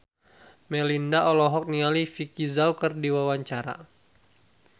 Melinda olohok ningali Vicki Zao keur diwawancara